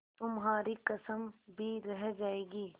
तुम्हारी कसम भी रह जाएगी